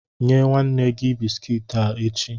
Nye nwanne gi bisikiiti a echi.